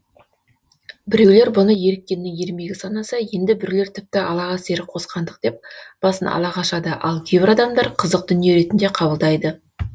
біреулер бұны еріккеннің ермегі санаса енді біреулер тіпті аллаға серік қосқандық деп басын ала қашады ал кейбір адамдар қызық дүние ретінде қабылдайды